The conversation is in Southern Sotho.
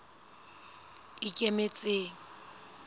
ikemetseng